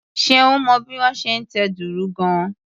Ṣeun mọ bí wón ṣe ń tẹ dùrù gan-an.